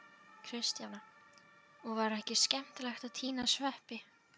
Kristjana: Og var ekki skemmtilegt að tína sveppi?